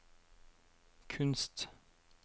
kunst